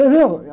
Entendeu? Foi a